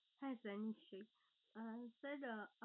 হ্যাঁ sir নিশ্চই। Ah sir আহ